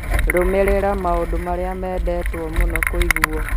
Rũmĩrĩra maũndũ marĩa meendetwo mũno kũiguo